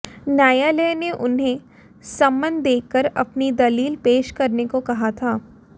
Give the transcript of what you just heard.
न्यायालय ने उन्हें सम्मन देकर अपनी दलील पेश करने को कहा था